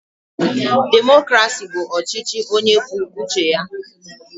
Demokrasi bụ ọchịchị onye kwuo uche ya.